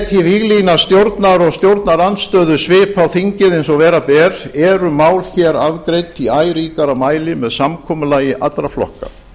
setji víglína stjórnar og stjórnarandstöðu svip á þingið eins og vera ber eru mál hér afgreidd í æ ríkara mæli með samkomulagi allra flokka